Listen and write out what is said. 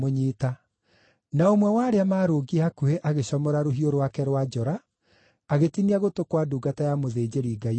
Na ũmwe wa arĩa maarũngiĩ hakuhĩ agĩcomora rũhiũ rwake rwa njora agĩtinia gũtũ kwa ndungata ya mũthĩnjĩri-Ngai ũrĩa mũnene.